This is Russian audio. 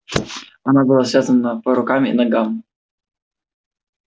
она была связана по рукам и ногам